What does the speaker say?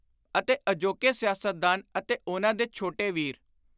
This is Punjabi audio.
ਅਤੇ ਅਜੋਕੇ ‘ਸਿਆਸਤਦਾਨ’ ਅਤੇ ਉਨ੍ਹਾਂ ਦੇ ਛੋਟੇ ਵੀਰ,